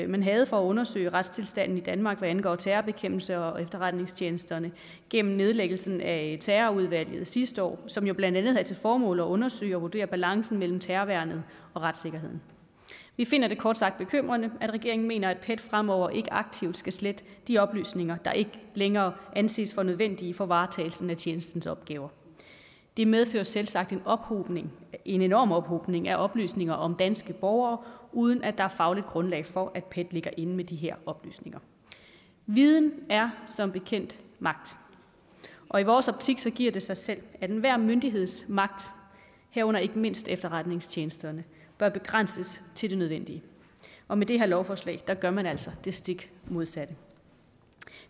man havde for at undersøge retstilstanden i danmark hvad angår terrorbekæmpelse og efterretningstjenesterne gennem nedlæggelsen af terrorudvalget sidste år som jo blandt andet havde til formål at undersøge og vurdere balancen mellem terrorværnet og retssikkerheden vi finder det kort sagt bekymrende at regeringen mener at pet fremover ikke aktivt skal slette de oplysninger der ikke længere anses for nødvendige for varetagelsen af tjenestens opgaver det medfører selvsagt en ophobning en enorm ophobning af oplysninger om danske borgere uden at der er fagligt grundlag for at pet ligger inde med de her oplysninger viden er som bekendt magt og i vores optik giver det sig selv at enhver myndigheds magt herunder ikke mindst efterretningstjenesternes bør begrænses til det nødvendige og med det her lovforslag gør man altså det stik modsatte